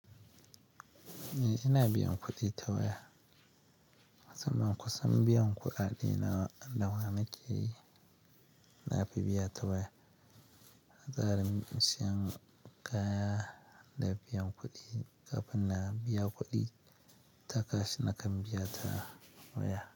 Eh ina biyan kuɗi tawaya. Musamman kusan biyan kuɗaɗe na da waya nake yi, na fi biya ta waya. A tsarin siyan kaya da biyan kuɗi kafin na biya kuɗi takas na kan biya ta waya.